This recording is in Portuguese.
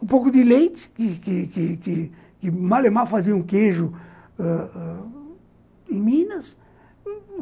Um pouco de leite, que que que que o Malemar fazia um queijo ãh ãh em Minas.